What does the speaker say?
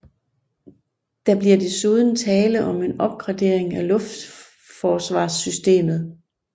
Der bliver desuden tale om en opgradering af luftforsvarssystemet